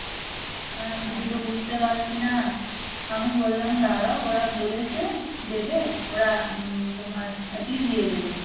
হ্যাঁ কিছু তো বুঝতে পারছি না আমি বললাম দাঁড়াও ওরা বলেছে দেবে ওরা তোমার এতেই দিয়ে দেবে